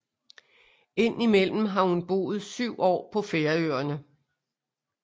Ind imellem har hun boet syv år på Færøerne